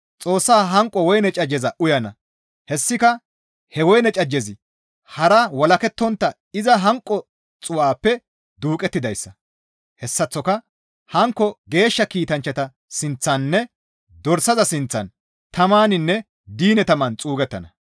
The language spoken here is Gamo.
Xoossa hanqo woyne cajjeza uyana; hessika he woyne cajjezi harara walakettontta iza hanqo xuu7aappe duuqettidayssa; hessaththoka hankko geeshsha kiitanchchata sinththaninne dorsaza sinththan tamaninne diine taman xuugettana.